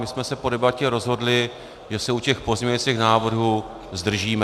My jsme se po debatě rozhodli, že se u těch pozměňovacích návrhů zdržíme.